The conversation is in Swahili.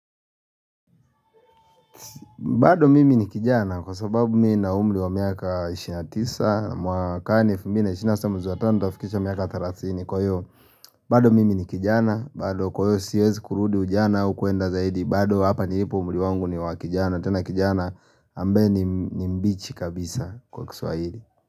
Bado mimi ni kijana kwa sababu mimi nina umri wa miaka ishirini na tisa mwakani elfu mbili na ishirini na sita mwezi wa tano nitafikisha miaka thelathini kwahiyo. Bado mimi ni kijana, bado kwa hiyo siwezi kurudi ujana au kwenda zaidi, bado hapa nilipo umri wangu ni wa kijana. Tena kijana ambaye ni mbichi kabisa kwa kiswahili.